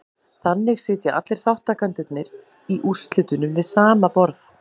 Þannig sitja allir þátttakendurnir í úrslitunum við sama borð.